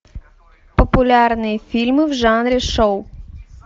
популярные фильмы в жанре шоу